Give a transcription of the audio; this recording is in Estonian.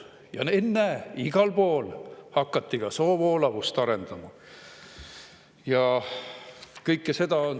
Ja ennäe, igal pool hakati soovoolavust arendama!